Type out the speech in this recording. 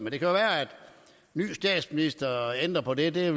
ny statsminister ændrer på det det